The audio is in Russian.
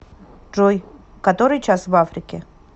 джой который час в африке